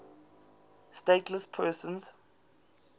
stateless persons